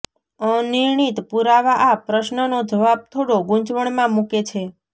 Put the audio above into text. અનિર્ણિત પુરાવા આ પ્રશ્નનો જવાબ થોડો ગૂંચવણમાં મૂકે છે